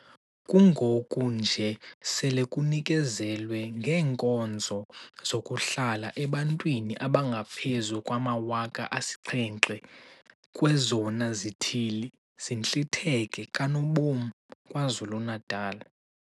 Kungoku nje sele kunikezelwe ngeenkonzo zokuhlala ebantwini abangaphezu kwama-7 000 kwezona zithili zintlitheke kanobom KwaZulu-Natal.